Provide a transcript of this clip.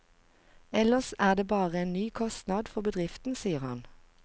Ellers er det bare en ny kostnad for bedriften, sier han.